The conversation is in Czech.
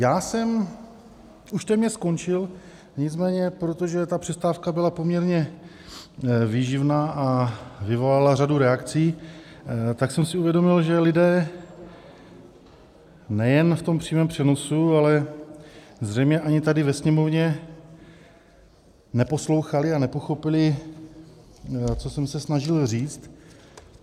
Já jsem už téměř skončil, nicméně protože ta přestávka byla poměrně výživná a vyvolala řadu reakcí, tak jsem si uvědomil, že lidé nejen v tom přímém přenosu, ale zřejmě ani tady ve Sněmovně neposlouchali a nepochopili, co jsem se snažil říct.